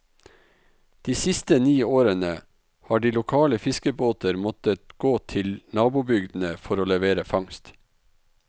De siste ni årene har de lokale fiskebåter måttet gå til nabobygdene for å levere fangst.